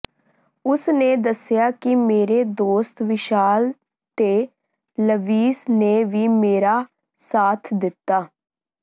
ਉਸ ਨੇ ਦੱਸਿਆ ਕਿ ਮੇਰੇ ਦੋਸਤ ਵਿਸ਼ਾਲ ਤੇ ਲਵਿਸ ਨੇ ਵੀ ਮੇਰਾ ਸਾਥ ਦਿੱਤਾ